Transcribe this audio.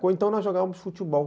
Ou então nós jogávamos futebol.